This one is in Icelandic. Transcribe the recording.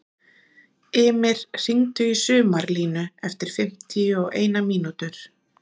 Ymir, hringdu í Sumarlínu eftir fimmtíu og eina mínútur.